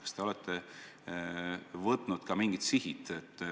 Kas te olete seadnud mingid sihid?